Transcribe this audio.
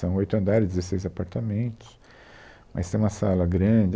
São oito andares, dezesseis apartamentos, mas tem uma sala grande.